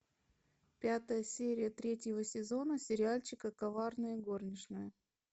пятая серия третьего сезона сериальчика коварная горничная